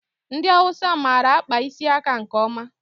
Ndị Awụsa mara akpa isi aka nke ọma.